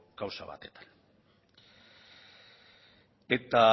kausa batek eta